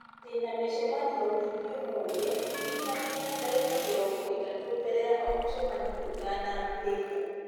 ndĩna mĩcemanio mĩingĩ ũmũthĩ ndirikania ndagĩka mĩrongo ĩtatũ mbere ya o mũcemanio ũtanambĩrĩria